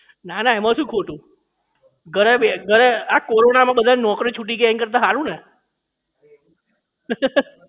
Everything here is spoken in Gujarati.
નાના એમાં શું ખોટું ઘરે બે ઘરે આ કોરોના માં બધાની નૌકરી છૂટી ગઈ એના કરતા હારું ને